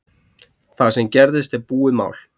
Það sem gerðist er búið mál